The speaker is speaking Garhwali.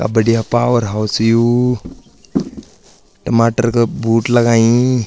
का बढ़िया पॉवर हाउस यू टमाटर का बूट लगाईं।